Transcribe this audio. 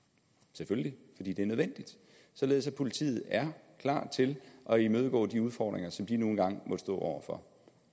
selvfølgelig fordi det er nødvendigt således at politiet er klar til at imødegå de udfordringer som de nu engang må stå over for